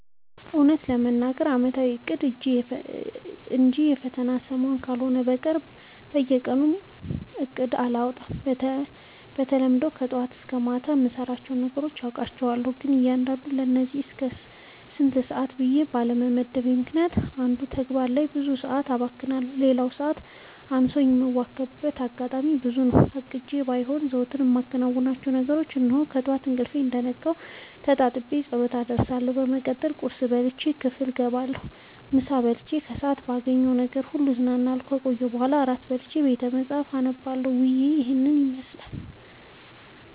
እውነት ለመናገር አመታዊ እቅድ እንጂ የፈተና ሰሞን ካልሆነ በቀር በየቀኑ እቅድ አላወጣም። በተለምዶ ከጠዋት እስከ ማታ የምሰራቸውን ነገሮች አውቃቸዋለሁ ግን ለእያንዳዱ ለዚህ እስከዚህ ሰአት ብዬ ባለመመደቤ ምክንያት አንዱ ተግባር ላይ ብዙ ሰአት አባክንና ለሌላው ሰዓት አንሶኝ የምዋከብበት አጋጣሚ ብዙ ነው። አቅጄም ባይሄን ዘወትር የማከናውናቸውን ነገሮች እንሆ፦ ጠዋት ከእንቅልፌ እንደነቃሁ ተጣጥቤ ፀሎት አደርሳለሁ በመቀጠልም ቁርስ በልቼ ክፍል ገባለሁ ምሳ በልቼ ከሰአት ባገኘሁት ነገር ሁሉ ስዝናና ከቆየሁ በኋላ እራት በልቼ ቤተመፃህፍት አነባለሁ ዉሎዬ ይህን ይመስላል።